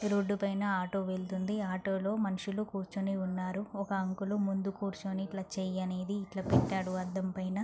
ఈ రోడ్డు పైన ఆటో వెళ్తుంది . ఆటో లో మనుసులు కూర్చుని ఉన్నారు. ఒక అంకుల్ ముందు కూర్చొని ఇట్లా చెయ్యి అనేది ఇట్లా పెట్టాడు అద్ధం పైన.